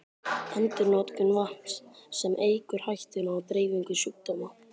Endurnotkun vatns, sem eykur hættuna á dreifingu sjúkdóma.